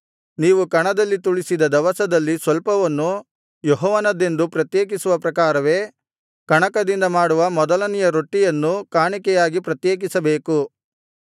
ನೀವು ಕಣದಲ್ಲಿ ತುಳಿಸಿದ ದವಸದಲ್ಲಿ ಸ್ವಲ್ಪವನ್ನು ಯೆಹೋವನದೆಂದು ಪ್ರತ್ಯೇಕಿಸುವ ಪ್ರಕಾರವೇ ಕಣಕದಿಂದ ಮಾಡುವ ಮೊದಲನೆಯ ರೊಟ್ಟಿಯನ್ನೂ ಕಾಣಿಕೆಯಾಗಿ ಪ್ರತ್ಯೇಕಿಸಬೇಕು